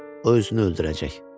O özünü öldürəcək.